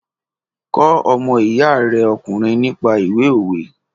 Kọ́ ọmọ iya rẹ ọkùnrin nípa ìwé òwe!